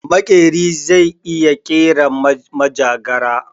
Makeri zai iya kera majagara